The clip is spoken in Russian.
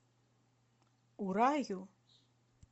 ураю